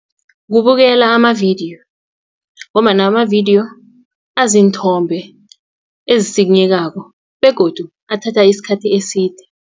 Kubukela amavidiyo ngombana amavidiyo aziinthombe ezisikinyekako begodu athatha isikhathi eside.